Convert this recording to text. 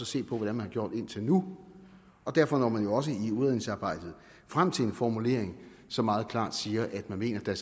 se på hvordan man har gjort indtil nu derfor når man jo også i udredningsarbejdet frem til en formulering som meget klart siger at man mener at der